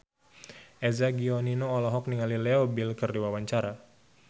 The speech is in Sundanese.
Eza Gionino olohok ningali Leo Bill keur diwawancara